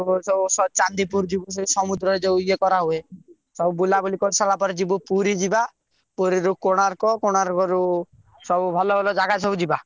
ପର୍ବତ ସବୁ ଚାନ୍ଦୀପୁର ଯିବୁ ସମୁଦ୍ରରେ ଯଉ ସବୁ ଇଏ କରା ହୁଏ ସବୁ ବୁଲା ବୁଲି କରି ସାରିଲା ପରେ ଯିବୁ ପୁରୀ ଯିବା ପୁରୀରୁ କୋଣାର୍କ କୋଣାର୍କଋ ଭଲ ଭଲ ଜାଗା ସବୁ ଯିବା।